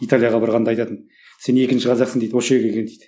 италияға барғанда айтатын сен екінші қазақсың дейді осы жерге келген дейді